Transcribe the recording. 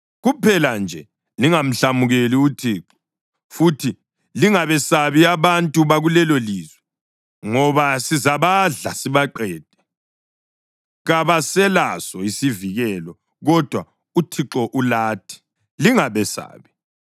Kuphela nje lingamhlamukeli uThixo. Futhi lingabesabi abantu bakulelolizwe, ngoba sizabadla sibaqede. Kabaselaso isivikelo, kodwa uThixo ulathi. Lingabesabi.”